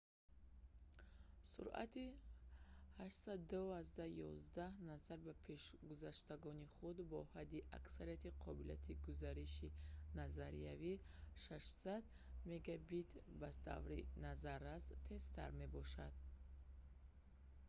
суръати 802.11n назар ба пешгузаштагони худ бо ҳадди аксари қобилияти гузариши назариявӣ 600 мбит/с ба таври назаррас тезтар мебошад